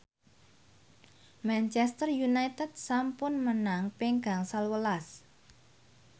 Manchester united sampun menang ping gangsal welas